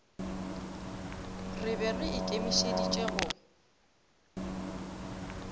re be re ikemišeditše go